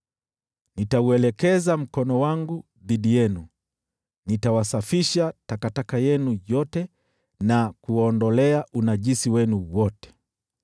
Nitauelekeza mkono wangu dhidi yenu, nitawasafisha takataka zenu zote na kuwaondolea unajisi wenu wote.